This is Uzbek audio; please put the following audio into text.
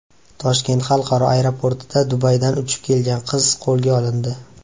Toshkent xalqaro aeroportida Dubaydan uchib kelgan qiz qo‘lga olindi .